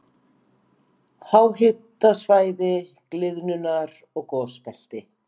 Háhitasvæði- gliðnunar- og gosbelti